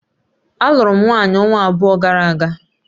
Alụụrụ m nwanyị ọnwa abụọ gara aga